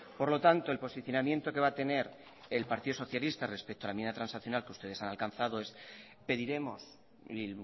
por lo tanto el posicionamiento que va a tener el partido socialista respecto a la enmienda transaccional que ustedes han alcanzado es que pediremos y